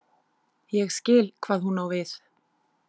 Ég skil hvað hún á við.